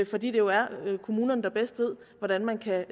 fordi det jo er kommunerne der bedst ved hvordan man kan